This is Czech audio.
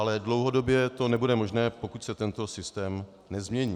Ale dlouhodobě to nebude možné, pokud se tento systém nezmění.